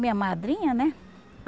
Minha madrinha, né?